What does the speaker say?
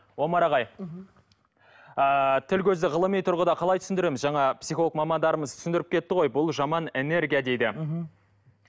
омар ағай мхм ыыы тіл көзді ғылыми тұрғыда қалай түсіндіреміз жаңа психолог мамандарымыз түсіндіріп кетті ғой бұл жаман энергия дейді мхм